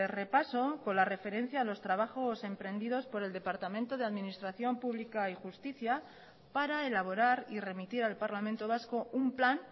repaso con la referencia a los trabajos emprendidos por el departamento de administración pública y justicia para elaborar y remitir al parlamento vasco un plan